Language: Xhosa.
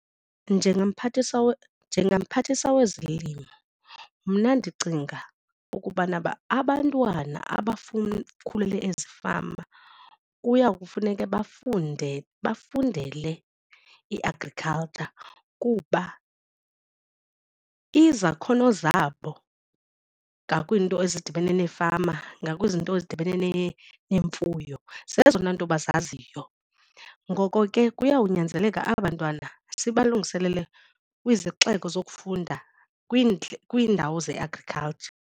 NjengaMphathiswa njengaMphathiswa wezoLimo mna ndicinga ukubana uba abantwana abafuna ukhulela ezifama kuya kufuneka bafunde bafundele i-agriculture kuba izakhono zabo ngakwiinto ezidibene neefama ngakwiizinto ezidibene neemfuyo zezona nto abazaziyo. Ngoko ke kuyawunyanzeleka aba 'ntwana sibalungiselele kwizixeko zokufunda kwiindawo ze-agriculture.